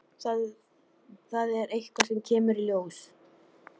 Það er eitthvað sem kemur í ljós.